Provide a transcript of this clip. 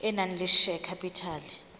e nang le share capital